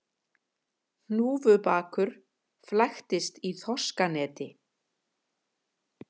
Hnúfubakur flæktist í þorskaneti